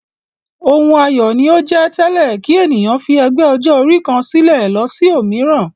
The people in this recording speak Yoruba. Ohun ayọ̀ ni ó jẹ́ tẹ́lẹ̀ kí ènìyàn fi ẹgbẹ́ ọjọ́-orí kan sílẹ̀ lọ sí òmíràn.